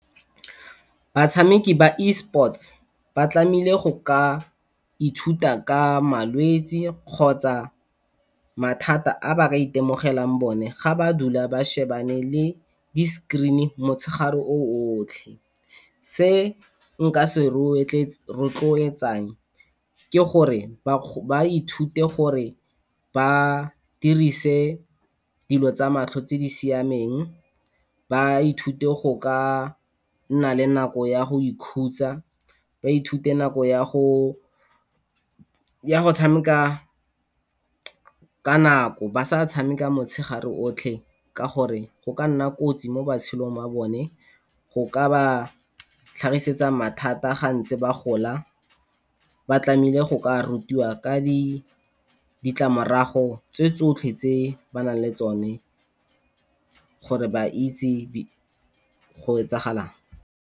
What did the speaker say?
Batshameki ba Esports ba tlameile go ka ithuta ka malwetsi kgotsa mathata a ba ka itemogelang one, ga ba dula ba shebane le di-screen-i motshegare o otlhe. Se nka se rotloetsang ke gore ba ithute gore ba dirise dilo tsa matlho tse di siameng, ba ithute go ka nna le nako ya go ikhutsa, ba ithute nako ya go tsameka ka nako ba sa tshameka motshegare otlhe ka gore go ka nna kotsi mo matshelong a bone, go ka ba tlhagisetsa mathata ga ntse ba gola. Ba tlameile go ka rutiwa ka ditlamorago tse tsotlhe tse ba nang le tsone gore ba itse go etsagalang.